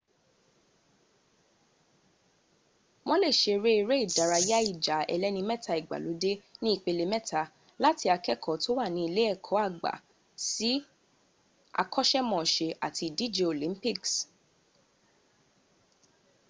wọ́n lè ṣeré eré ìdárayá ìjà ẹlẹ́ni mẹ́ta ìgbàlódé ní ìpele méta láti akẹ́kọ̀ọ́ tó wà ní ilé ẹ̀kọ́ àgbà sí àkọ́ṣkmọṣẹ́ àti ìdíje olympics